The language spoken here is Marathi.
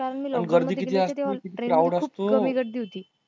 कारण मी लवकर मध्ये गेली असती तेव्हा train ला खूप कमी गर्दी होती